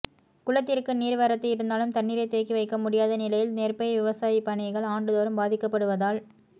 குளத்திற்கு நீா் வரத்து இருந்தாலும் தண்ணீரை தேக்கி வைக்க முடியாத நிலையில் நெற்பயிா் விவசாயப்பணிகள் ஆண்டுதோறும் பாதிக்கப்படுவதால்